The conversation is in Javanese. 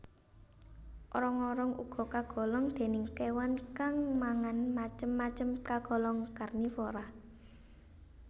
Orong orong uga kagolong déning kéwan kang mangan macem macem kagolong karnivora